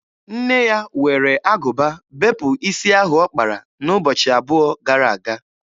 Nne ya were agụba bepụ isi ahụ ọ kpara n'ụbọchị abụọ gara aga.